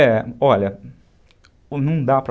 É, olha, não dá